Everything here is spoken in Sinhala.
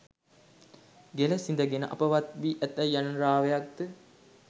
ගෙළ සිඳගෙන අපවත් වී ඇතැයි යන රාවයක්ද